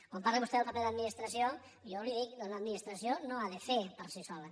quan parla vostè del paper de l’administració jo li dic l’administració no ha de fer per si sola